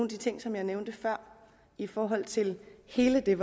de ting som jeg nævnte før i forhold til hele den